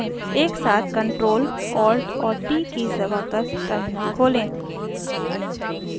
एक साथ ctrl alt और t कीज़ दबाकर टर्मिनल खोलें